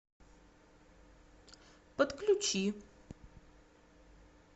подключи